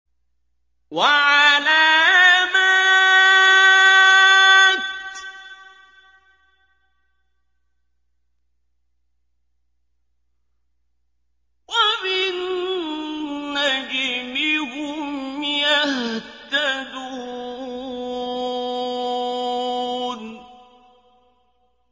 وَعَلَامَاتٍ ۚ وَبِالنَّجْمِ هُمْ يَهْتَدُونَ